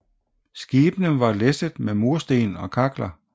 Skibene var læsset med mursten og kakler